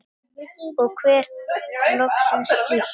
Og vera loksins hlýtt!!